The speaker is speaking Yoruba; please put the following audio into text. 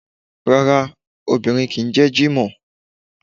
Rárá, obìnrin kìí jẹ́ Jimoh.